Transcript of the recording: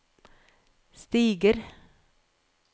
stiger